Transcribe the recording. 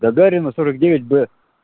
гагарина сорок девять б